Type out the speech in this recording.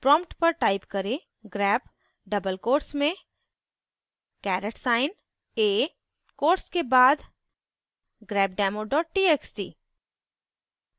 prompt पर type करें: grep double quotes में caret साइन a quotes के बाद grepdemo txt